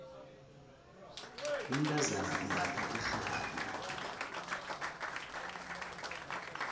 umntazana umbatha irhabi